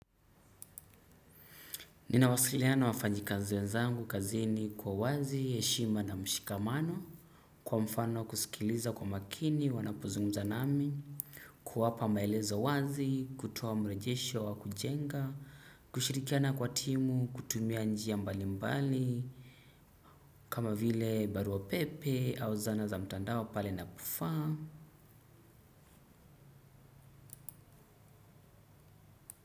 Ninawasiliana na wafanyikazi wenzangu kazini kwa uwazi heshima na mshikamano. Kwa mfano kusikiliza kwa makini wanapozungumza nami. Kuwapa maelezo wazi kutuoa mrejesho wa kujenga kushirikiana kwa timu kutumia njia mbali mbali. Kama vile barua pepe au zana za mtandao pale napofaa.